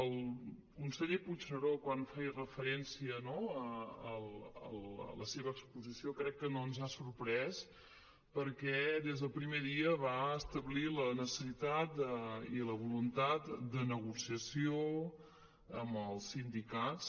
el conseller puigneró quan feia referència no a la seva exposició crec que no ens ha sorprès perquè des del primer dia va establir la necessitat i la voluntat de negociació amb els sindicats